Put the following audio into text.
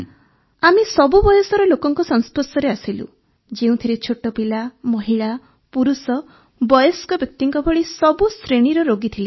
ଆମେ ସବୁ ବୟସର ଲୋକଙ୍କ ସଂସ୍ପର୍ଶରେ ଆସିଲୁ ଯେଉଁଥିରେ ଛୋଟ ପିଲା ମହିଳା ପୁରୁଷ ବୟସ୍କ ବ୍ୟକ୍ତିଙ୍କ ଭଳି ସବୁ ଶ୍ରେଣୀର ରୋଗୀ ଥିଲେ ସାର୍